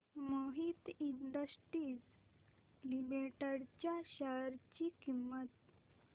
Mohit industries limited च्या share ची किंमत